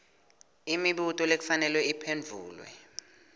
imibuto lekufanele iphendvulwe